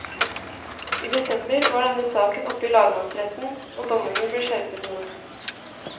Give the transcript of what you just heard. I desember var denne saken oppe i lagmannsretten og dommene ble skjerpet noe.